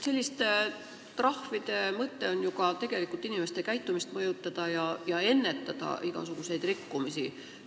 Selliste trahvide mõte on ju tegelikult inimeste käitumist mõjutada ja igasuguseid rikkumisi ennetada.